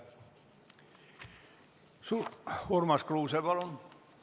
Urmas Kruuse, palun!